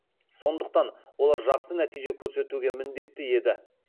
сондықтан олар жақсы нәтиже көрсетуге міндетті еді